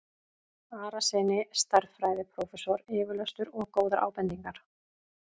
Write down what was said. Arasyni stærðfræðiprófessor yfirlestur og góðar ábendingar.